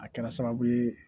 A kɛra sababu ye